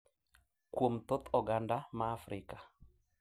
Kuom thoth oganda ma Afrika,